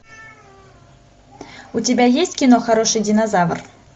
у тебя есть кино хороший динозавр